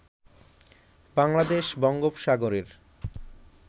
বাংলাদেশ বঙ্গোপসাগরের